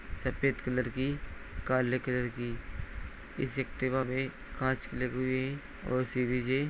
सफ़ेद कलर की काले कलर की इस एक्टिवा पे कांच लगे हुए है और सी_बी_जे --